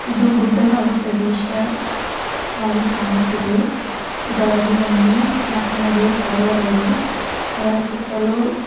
ಇದು ಗುಡ್ಡಗಾಡು ಪ್ರದೇಶವಾಗಿ ಕಾಣುತ್ತಿದೆಇದರಲ್ಲಿ ಒಂದು ನಟ್ಟನಡುವೆ ಸರೋವರ್ ಇದೆ ಅದರ ಸುತ್ತಲೂ --